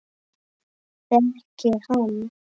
Þekki hann.